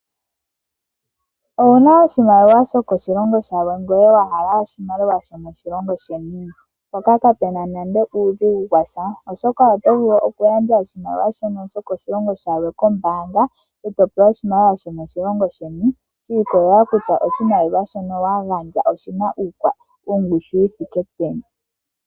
Owuna oshimaliwa shokoshilongo shilwe ihe owahala oshimaliwa shomoshilongo sheni? Kapena nande uudhigu washa oshoka oto vulu okugandja oshimaliwa shono shokoshilongo shilwe kombaanga eto pewa oshimaliwa shomoshilongo sheni shi ikolelela kutya oshimaliwa shono wagandja oshina ongushu yithike peni.